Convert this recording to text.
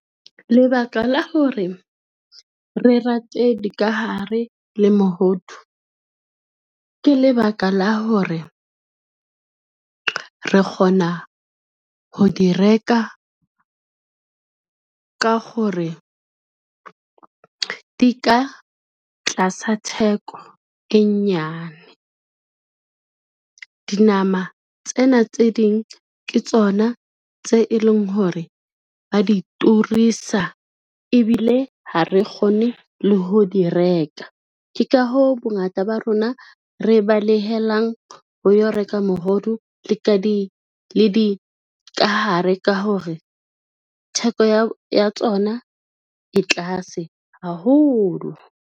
Lebaka la hore, re rate dikahare le mohodu ke lebaka la hore, re kgona ho di reka ka gore di ka tlasa theko e nyane. Dinama tsena tse ding ke tsona tse e leng hore ba di turisa ebile ha re kgone le ho di reka. Ke ka hoo, bongata ba rona re balehelang ho yo reka mohodu le dikahare ka hore theko ya tsona e tlase haholo.